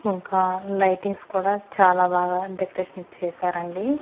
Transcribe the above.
ఇంకా లైటింగ్స్ కూడా చాలా బాగా డెకరేషన్ చేశారండి.